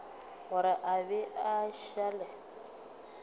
gore a be a šale